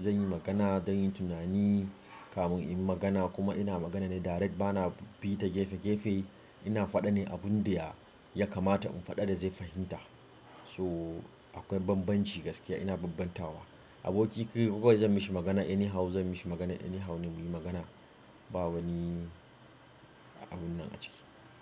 zan yi magana, zan yi tunani kamin in yi magana kuma ina magana ne direct bana bi ta gefe gefe. Ina faɗa ne abun dai ya, ya kamata in faɗa da zai fahimta. So akwai bambanci gaskiya ina bambantawa. Aboki kawai zan mishi magana any how zan mishi magana anyhow ne muyi magana. Ba wani abun nan a ciki.